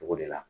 Togo de la